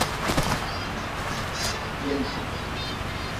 ельцу